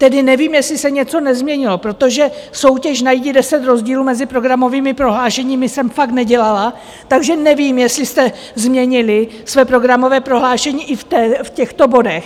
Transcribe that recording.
Tedy nevím, jestli se něco nezměnilo, protože soutěž najdi deset rozdílů mezi programovými prohlášeními jsem fakt nedělala, takže nevím, jestli jste změnili své programové prohlášení i v těchto bodech.